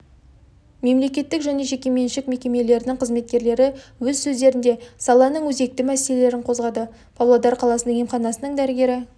мемлекеттік және жекеменшік мекемелерінің қызметкерлері өз сөздерінде саланың өзекті мәселелерін қозғады павлодар қаласының емханасының дәрігері